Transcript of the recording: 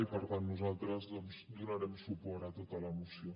i per tant nosaltres donarem suport a tota la moció